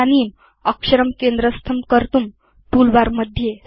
इदानीम् अक्षरं केन्द्रस्थं कर्तुं टूलबार